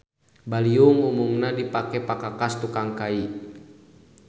Baliung umumna dipake pakakas tukang kai.